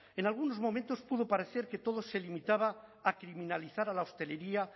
en algunos momentos pudo parecer que todo se limitaba a criminalizar a la hostelería